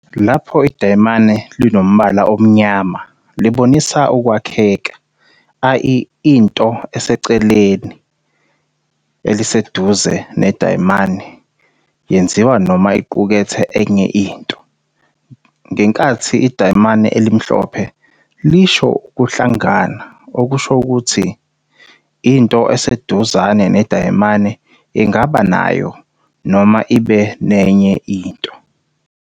Lapho idayimane linombala omnyama libonisa ukwakheka, ie into eseceleni eliseduzane nedayimane yenziwe noma iqukethe enye into. Ngenkathi idayimane elimhlophe lisho ukuhlangana, okusho ukuthi into eseduzane nedayimane ingaba nayo noma ibe nenye into.